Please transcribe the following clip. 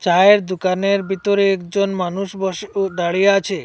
চায়ের দুকানের বিতরে একজন মানুষ বসে ও দাঁড়িয়ে আছে।